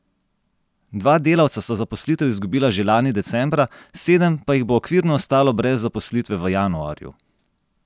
Dva delavca sta zaposlitev izgubila že lani decembra, sedem pa jih bo okvirno ostalo brez zaposlitve v januarju.